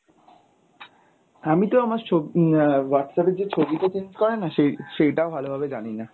আমিতো আমার সব আহ Whatsapp এ যেই ছবিটা change করে না সেই~ সেইটাও ভালোভাবে জানিনা।